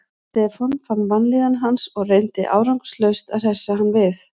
Stefán fann vanlíðan hans og reyndi árangurslaust að hressa hann við.